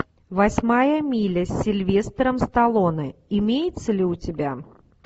восьмая миля с сильвестром сталлоне имеется ли у тебя